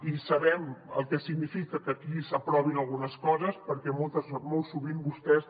i sabem el que significa que aquí s’aprovin algunes coses perquè molt sovint vostès